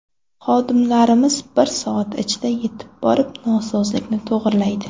Xodimlarimiz bir soat ichida yetib borib, nosozlikni to‘g‘rilaydi.